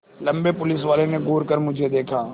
लम्बे पुलिसवाले ने घूर कर मुझे देखा